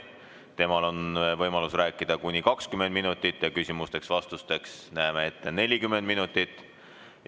Temal on võimalus rääkida kuni 20 minutit ja küsimusteks-vastusteks näeme ette 40 minutit.